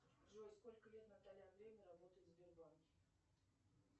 джой сколько лет наталья андреевна работает в сбербанке